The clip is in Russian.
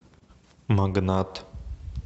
магнат